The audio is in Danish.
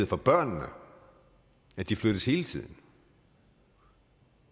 for børnene at de flyttes hele tiden